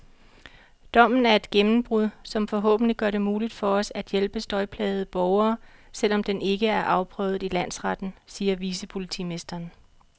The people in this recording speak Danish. Dommen er et gennembrud, som forhåbentlig gør det muligt for os at hjælpe støjplagede borgere, selv om den ikke er afprøvet i landsretten, siger vicepolitimesteren.